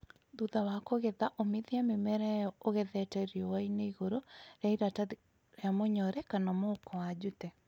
Thutha wa kũgetha; ũmithia mĩmera ĩyo ũgethete riũanĩ igũrũ rĩa iratathi rĩa mũnyore kana mũhuko wa jute